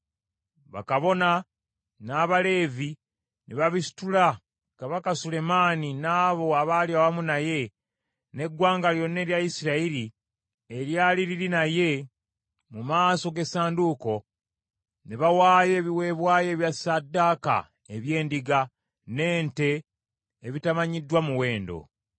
Bakabona n’Abaleevi ne babisitula, Kabaka Sulemaani n’abo abaali awamu naye, n’eggwanga lyonna erya Isirayiri eryali liri naye mu maaso g’essanduuko, ne bawaayo ebiweebwayo ebya ssaddaaka eby’endiga, n’ente, ebitaamanyibwa muwendo.